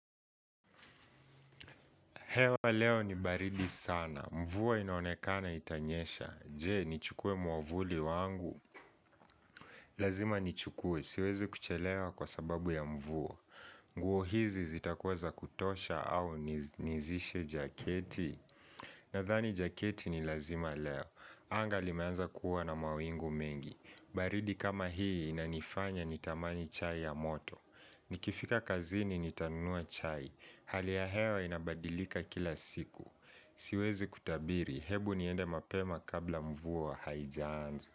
Hewa leo ni baridi sana. Mvua inaonekana itanyesha. Je, nichukue mwavuli wangu? Lazima ni chukue. Siwezi kuchelewa kwa sababu ya mvua. Nguo hizi zitakuwa za kutosha au nizishe jaketi? Nadhani jaketi ni lazima leo. Anga limeanza kuwa na mawingu mengi. Baridi kama hii inanifanya nitamani chai ya moto. Nikifika kazini nitanunua chai. Hali ya hewa inabadilika kila siku. Siwezi kutabiri, hebu niende mapema kabla mvua haijaanza.